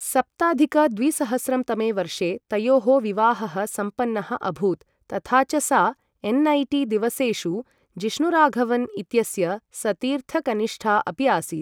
सप्ताधिक द्विसहस्रं तमे वर्षे तयोः विवाहः सम्पन्नः अभूत् तथा च सा एन्.ऐ.टी.दिवसेषु जिष्णुराघवन् इत्यस्य सतीर्थकनिष्ठा अपि आसीत्।